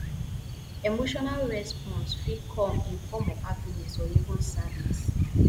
emotional response fit come in form of happiness or even sadness